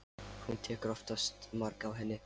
Hann tekur oftast mark á henni.